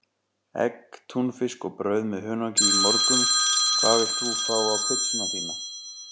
Egg, túnfisk og brauð með hunangi í morgun Hvað vilt þú fá á pizzuna þína?